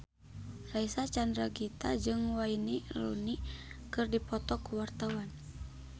Reysa Chandragitta jeung Wayne Rooney keur dipoto ku wartawan